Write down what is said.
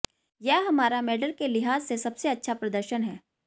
यह हमारा मेडल के लिहाज से सबसे अच्छा प्रदर्शन है